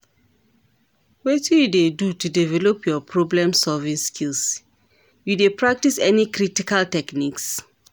Wetin you dey do to develop your problem-solving skills, you dey practice any critical techniques?